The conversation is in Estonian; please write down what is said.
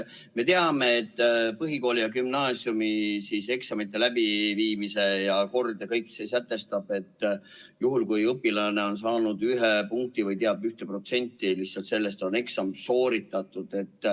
Me teame, et põhikooli- ja gümnaasiumieksamite läbiviimise kord sätestab, et juhul kui õpilane on saanud 1 punkti või teab 1% vastustest, siis on eksam sooritatud.